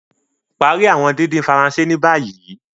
Parí awọn dídín Faransé ní bàyìí.